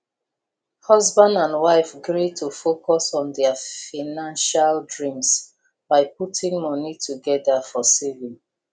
husband and wife gree to focus on their financial dreams by putting money together for saving